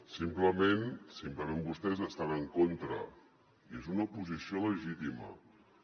simplement vostès estan en contra i és una posició legítima